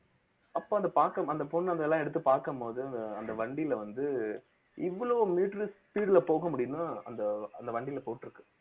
அப்ப அத பாக்~ அந்த பொண்ணு அதெல்லாம் எடுத்து பார்க்கும் போது அந்த வண்டியில வந்து இவ்வளவு meter speed ல போக முடியும்னா அந்த அந்த வண்டியில போட்டிருக்கு